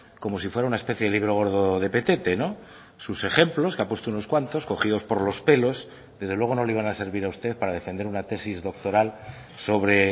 como si fuera una especie de libro gordo de petete sus ejemplos que ha puesto unos cuantos cogidos por los pelos desde luego no le iban a servir a usted para defender una tesis doctoral sobre